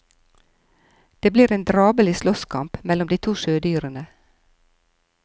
Det blir en drabelig slåsskamp mellom de to sjødyrene.